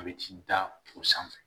A bɛ ci da o sanfɛ